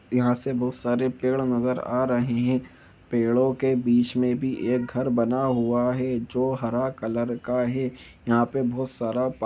यहां से बहुत सारे पेड़ नजर आ रहे हैं पेड़ों के बीच में भी एक घर बना हुआ है जो हरा कलर का है यहां पर बहुत सारा--